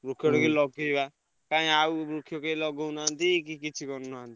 ବୃକ୍ଷ ଟିକେ ଲଗେଇବା। କାଇଁ ଆଉ ବୃକ୍ଷ କେହି ଲଗଉନାହାନ୍ତି କି କିଛି କରୁନାହାନ୍ତି।